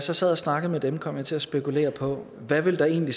jeg sad og snakkede med dem kom jeg til at spekulere på hvad der egentlig